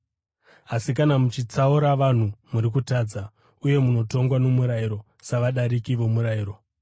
Asi kana muchitsaura vanhu, muri kutadza uye munotongwa nomurayiro savadariki vomurayiro.